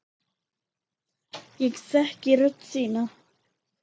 Ég þekki rödd þína.